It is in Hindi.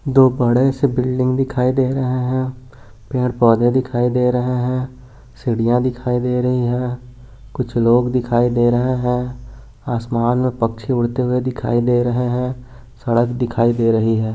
दो बड़े से बिल्डिंग दिखाई दे रहे हैं पेड़ पौधे दिखाई दे रहे हैं सीढ़ियां दिखाई दे रही है कुछ लोग दिखाई दे रहे हैं आसमान में पक्षी उड़ते हुए दिखाई दे रहे हैं सड़क दिखाई दे रही है।